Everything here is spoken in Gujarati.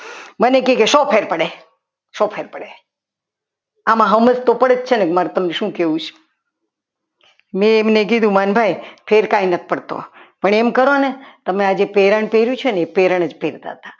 મને કહેશો ફેર પડે સો ફેર પડે આમાં તો સમજ તો પડે જ છે ને કે મારે તમને શું કહેવું છ મેં એમને કીધું કે માનભાઈ ફેર કાંઈ નથ પડતો પણ એમ કરો ને તમે જે આ પેરણ પહેર્યું છે ને એ પ્રેરણ જ પહેરતા હતા.